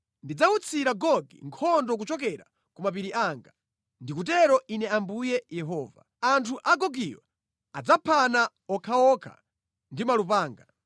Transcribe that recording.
Ndidzawutsira Gogi nkhondo kuchokera ku mapiri anga. Ndikutero Ine Ambuye Yehova. Anthu a Gogiyo adzaphana okhaokha ndi malupanga.